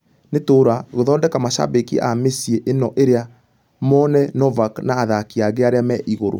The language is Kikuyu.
Nĩ tũra....gũthilondeka mashabaki a mĩciĩ ĩno ĩrĩ mũne novak na athakĩ angĩ arĩa me igũrũ.